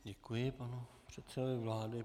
Děkuji panu předsedovi vlády.